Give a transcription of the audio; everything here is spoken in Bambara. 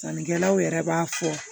Sannikɛlaw yɛrɛ b'a fɔ